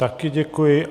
Taky děkuji.